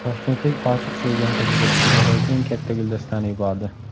Toshkentlik oshiq sevgan qiziga dunyodagi eng katta guldastani yubordi .